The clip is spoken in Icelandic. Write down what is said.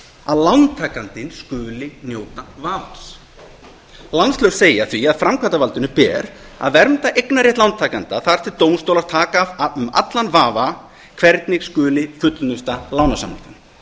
að lántakandinn skuli njóta vafans landslög segja því að framkvæmdarvaldinu beri að vernda eignarrétt lántakenda þar til dómstólar taka af um allan vafa hvernig skuli fullnusta lánasamninga